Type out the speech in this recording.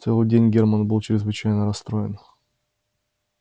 целый день германн был чрезвычайно расстроен